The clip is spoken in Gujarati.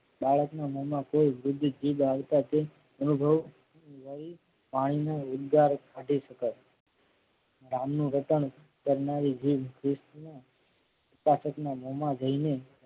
બાળકના મોમાં કોઈ વૃદ્ધ જીભ આવતા તે અનુભવ લઈ વાણીના ઉદગાર કાઢી શકાય ગામનું રટણ કરનારી જીભ ઉતસકના મોમાં જઈને